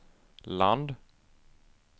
land